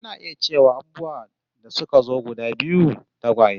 Ana iya cewa abubuwa da suka zo a guda biyu, tagwaye